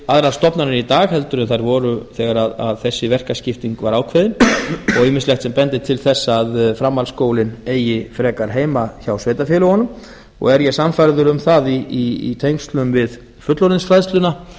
aðrar stofnanir í dag en þær voru þegar þessi verkaskipting var ákveðin og ýmislegt sem bendir til þess að framhaldsskólinn eigi frekar heima hjá sveitarfélögunum og er ég sannfærður um það í tengslum við fullorðinsfræðsluna